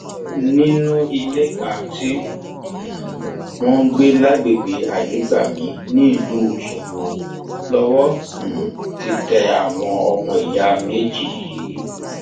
nínú ilé kan tí um wọn ń gbé lágbègbè ayégbàmì nílùú ọṣọgbó lowó um ti tẹ àwọn ọmọọyà méjì yìí